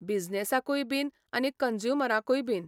बिझनसाकूय बीन आनी कंज्युमराकूय बीन.